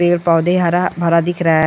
पेड़ पौधे हरा-हरा दिख रहा है।